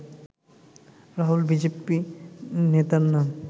Rahul BJP নেতার নাম